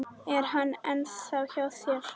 Er hann ennþá hjá þér?